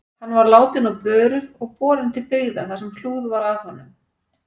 Hann var látinn á börur og borinn til byggða þar sem hlúð var að honum.